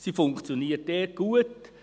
Sie funktioniert gut.